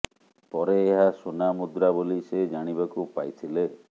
ପରେ ଏହା ସୁନା ମୁଦ୍ରା ବୋଲି ସେ ଜାଣିବାକୁ ପାଇଥିଲେ